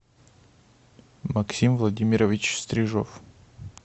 максим владимирович стрижов